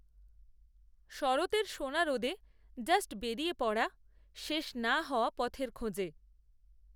শরতের সোনারোদে জাস্ট বেরিয়ে পড়া, শেষ, না হওয়া পথের খোঁজে